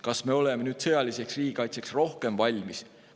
Kas me oleme nüüd sõjaliseks riigikaitseks rohkem valmis?